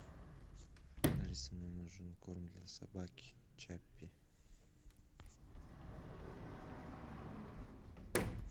алиса мне нужен корм для собаки чаппи